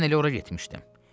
Mən elə ora getmişdim.